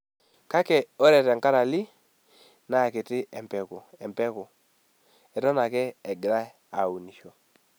Kake ore tenkarali naa kiti empeku , eton ake egirai aunisho.